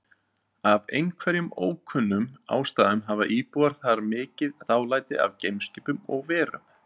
Af einhverjum ókunnum ástæðum hafa íbúar þar mikið dálæti á geimskipum og-verum.